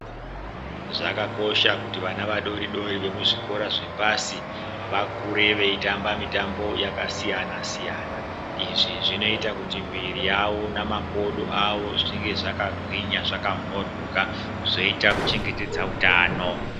Zvakakosha kuti vana vadoridori wemuzvikora zvepasi vakure weitamba mitambo yakasiyana siyana. Izvi zvinoita kuti miiri yavo namakodo avo zvinge zvakagwinya zvakamhoryoka zveita kuchengetedza hutano.